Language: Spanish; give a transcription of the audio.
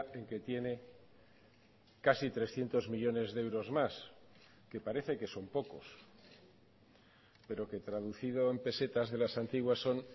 en que tiene casi trescientos millónes de euros más que parece que son pocos pero que traducido en pesetas de las antiguas son